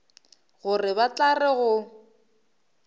gore ba tla re go